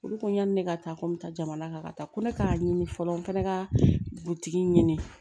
Olu ko yanni ne ka taa ko n bɛ taa jamana kan ka taa ko ne k'a ɲini fɔlɔ n fana ka butigi ɲini